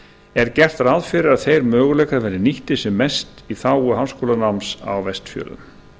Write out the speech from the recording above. er gert ráð fyrir að þeir möguleikar verði nýttir sem mest í þágu háskólanáms á vestfjörðum